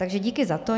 Takže díky za to.